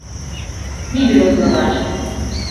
Ni bilo zanalašč!